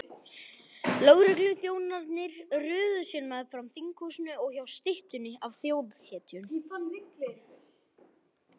Lögregluþjónarnir röðuðu sér meðfram þinghúsinu og hjá styttunni af þjóðhetjunni.